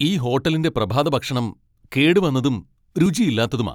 ഈ ഹോട്ടലിന്റെ പ്രഭാതഭക്ഷണം കേടുവന്നതും രുചിയില്ലാത്തതുമാ.